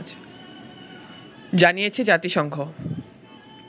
জানিয়েছে জাতিসংঘ